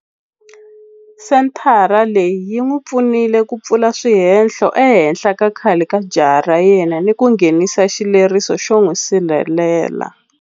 Senthara leyi yi n'wi pfunile ku pfula swihehlo ehenhla ka khale ka jaha ra yena ni ku nghenisa xileriso xo n'wi sirhelela.